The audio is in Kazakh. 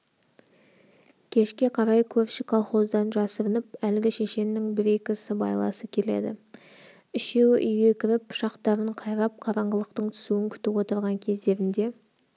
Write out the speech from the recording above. кешке қарай көрші колхоздан жасырынып әлгі шешеннің бір-екі сыбайласы келеді үшеуі үйге кіріп пышақтарын қайрап қараңғылықтың түсуін күтіп отырған кездерінде